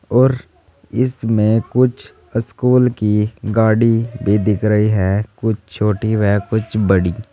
और इसमें कुछ स्कूल की गाड़ी भी दिख रही है कुछ छोटी व कुछ बड़ी।